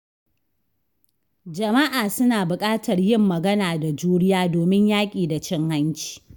Jama’a suna buƙatar yin magana da juriya domin yaƙi da cin hanci.